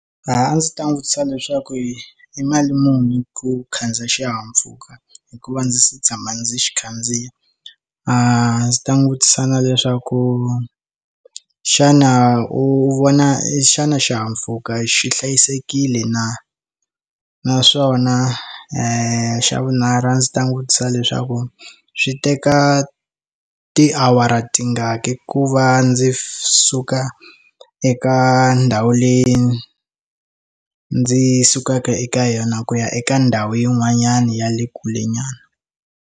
A ndzi ta n'wi vutisa leswaku i i mali muni ku khandziya xihahampfhuka hikuva ndzi se tshama ndzi xi khandziya a ndzi ta n'wi vutisa na leswaku xana u vona i xana xihahampfhuka xi hlayisekile na naswona i xa vunharhu ndzi ta n'wi vutisa leswaku swi teka tiawara tingaki ku va ndzi suka eka ndhawu leyi ndzi sukaka eka yona ku ya eka ndhawu yin'wanyana ya le kule nyana.